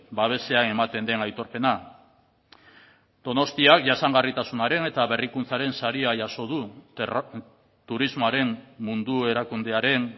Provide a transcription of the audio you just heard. babesean ematen den aitorpena donostiak jasangarritasunaren eta berrikuntzaren saria jaso du turismoaren mundu erakundearen